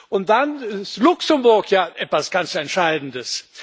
Und dann ist Luxemburg ja etwas ganz Entscheidendes.